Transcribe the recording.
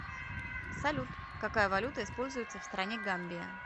салют какая валюта используется в стране гамбия